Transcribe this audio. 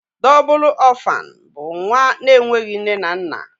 Dóbul orphan bú nwa na enweghị nne na nna.